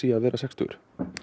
að vera sextugur